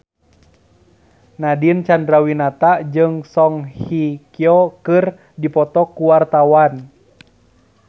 Nadine Chandrawinata jeung Song Hye Kyo keur dipoto ku wartawan